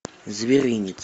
зверинец